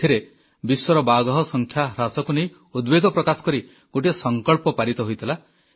ଏଥିରେ ବିଶ୍ୱର ବାଘ ସଂଖ୍ୟା ହ୍ରାସକୁ ନେଇ ଉଦବେଗ ପ୍ରକାଶ କରି ଗୋଟିଏ ସଂକଳ୍ପ ପାରିତ ହୋଇଥିଲା